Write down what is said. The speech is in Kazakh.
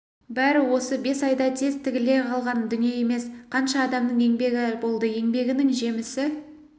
бәрі осы бес айда тез тігіле қалған дүние емес қанша адамның еңбегі болды еңбегінің жемісі